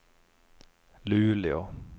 Luleå